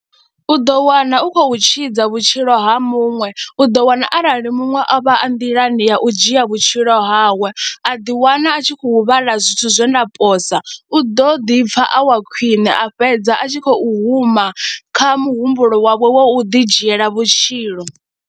U ḓo wana u khou tshidza vhutshilo ha muṅwe, u ḓo wana arali muṅwe a vha a nḓilani ya u dzhia vhutshilo hawe a ḓiwana a tshi khou vhala zwithu zwe nda posa, u ḓo ḓi pfha a wa khwiṋe a fhedza a tshi khou huma kha muhumbulo wawe wa u ḓidzhiela vhutshilo.